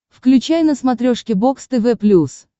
включай на смотрешке бокс тв плюс